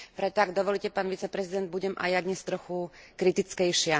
Preto, ak dovolíte, pán viceprezident, budem aj ja dnes trochu kritickejšia.